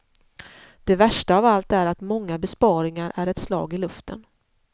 Det värsta av allt är att många besparingar är ett slag i luften.